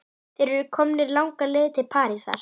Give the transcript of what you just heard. Þeir eru komnir langleiðina til Parísar.